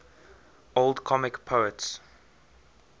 old comic poets